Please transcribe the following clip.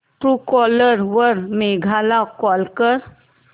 Truecaller वर मेघा ला call कर